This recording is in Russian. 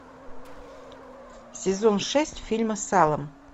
сезон шесть фильма салом